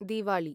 Diwali